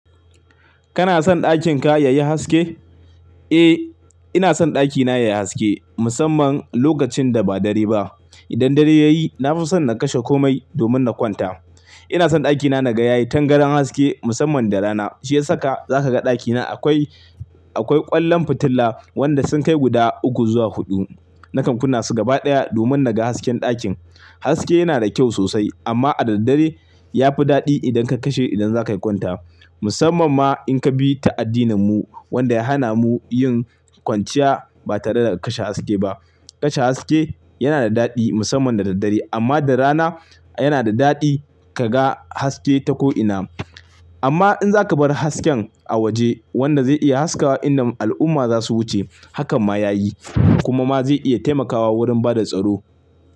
Kana son ɗakin ka yayi haske? Eh ina son ɗakina yayi haske musamman lokacin da ba dare ba. Idan dare yayi na fi son na kashe komai domin na kwanta. Ina son ɗakina naga yayi tangaran haske musamman da rana. Shi ya saka zaka ga ɗakina akwai, akwai ƙwallon fitila wanda sun kai guda uku zuwa huɗu. Na kamkuna su gaba ɗaya domin naga hasken ɗakin. Haske yana da kyau sosai amma a dare ya fi daɗi idan ka kashe idan za kai kwanta. Musamman ma in ka bi ta addinin mu wanda ya hana mu yin kwanciya ba tare da kashe haske ba. Kashe haske yana da daɗi musamman da daddare amma da rana yana da daɗi kaga haske ta ko'ina. Amma in za ka bar hasken a waje wanda zai iya haskawa idan al'umma za su wuce, hakan ma yayi kuma ma zai iya taimakawa wurin bada tsaro.